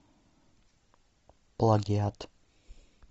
плагиат